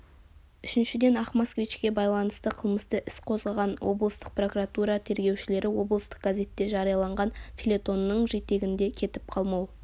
үшіншіден ақ москвичке байланысты қылмысты іс қозғаған облыстық прокуратура тергеушілері облыстық газетте жарияланған фельетонның жетегінде кетіп қалмау